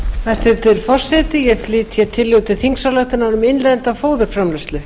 hæstvirtur forseti ég flyt tillögu til þingsályktunar um innlenda fóðurframleiðslu